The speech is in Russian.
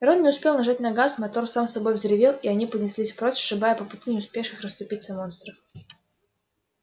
рон не успел нажать на газ мотор сам собой взревел и они понеслись прочь сшибая по пути не успевших расступиться монстров